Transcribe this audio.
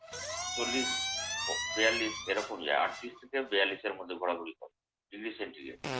চল্লিশ ও বেয়াল্লিশ এরকম যায়। আটত্রিশ থেকে বেয়াল্লিশ এর মধ্যে ঘুরাঘুরি করে।